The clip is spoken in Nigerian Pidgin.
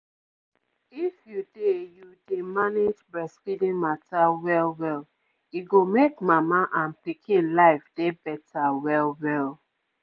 if you dey you dey manage breastfeeding mata well well e go make mama and pikin life dey better well well.